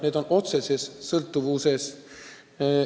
Need on otseses sõltuvuses.